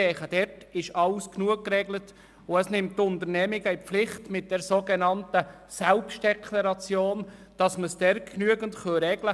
Ich denke, damit sind die wichtigen Punkte ausreichend geregelt, und die Unternehmungen werden mit der sogenannten Selbstdeklaration in die Pflicht genommen.